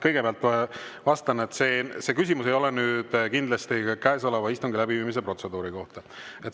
Kõigepealt ütlen, et see küsimus ei ole kindlasti käesoleva istungi läbiviimise protseduuri kohta.